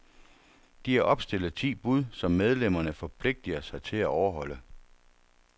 De har opstillet ti bud, som medlemmerne forpligter sig til at overholde.